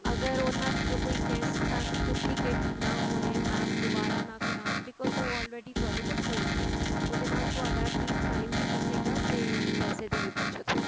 ਅਗਰ ਉਹਨਾ ਵਿੱਚੋ ਕੋਈ test ਤਾਂ duplicate ਨਾ ਹੋਏ mam ਦੁਵਾਰਾ ਨਾ ਕਰਾਣ because ਉਹ already ਤੁਹਾਡੇ ਕੋਲ ਹੋਣਗੇ ਉਹਦੇ ਨਾਲ ਤੁਹਾਡਾ at least time ਵੀ ਬਚੇਗਾ ਤੇ ਪੈਸੇ ਦੀ ਵੀ ਬੱਚਤ ਹੋਏਗੀ